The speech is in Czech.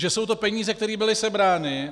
Že jsou to peníze, které byly sebrány...